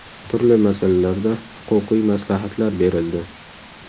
Turli masalalarda huquqiy maslahatlar berildi.